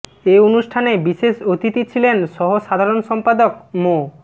এ অনুষ্ঠানে বিশেষ অতিথি ছিলেন সহ সাধারণ সম্পাদক মো